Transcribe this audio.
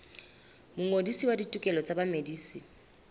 mongodisi wa ditokelo tsa bamedisi